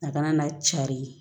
A kana na cari